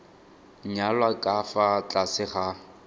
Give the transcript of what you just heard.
nyalwa ka fa tlase ga